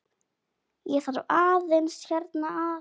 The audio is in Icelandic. Ég þarf aðeins hérna að.